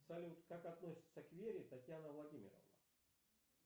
салют как относится к вере татьяна владимировна